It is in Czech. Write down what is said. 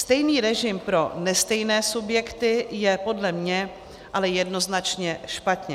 Stejný režim pro nestejné subjekty je podle mě ale jednoznačně špatně.